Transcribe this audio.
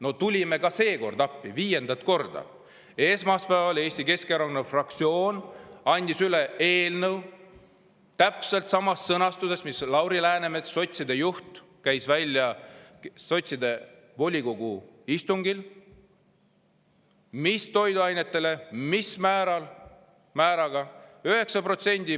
No tulime ka seekord appi, viiendat korda, ja esmaspäeval andis Eesti Keskerakonna fraktsioon üle eelnõu täpselt samas sõnastuses, nagu Lauri Läänemets, sotside juht, käis välja sotside volikogu istungil, et mis toiduainetel ja mis määraga.